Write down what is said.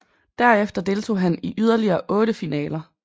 Derefter deltog han i yderligere otte finaler